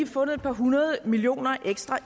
fundet et par hundrede millioner ekstra